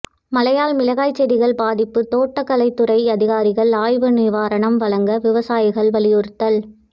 மழையால் மிளகாய் செடிகள் பாதிப்பு தோட்டக்கலைத்துறை அதிகாரிகள் ஆய்வு நிவாரணம் வழங்க விவசாயிகள் வலியுறுத்தல்